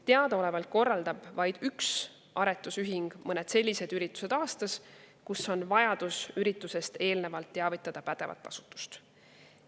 Teadaolevalt korraldab vaid üks aretusühing mõned sellised üritused aastas, millest on vaja eelnevalt teavitada pädevat asutust.